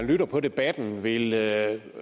lave en